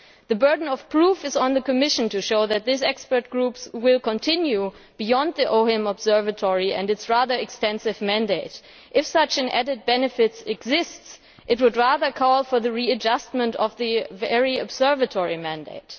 The burden of proof is on the Commission to show that this expert group will go beyond the OHIM Observatory and its rather extensive mandate. If such an added benefit exists, it would rather call for the readjustment of the EU Observatory mandate.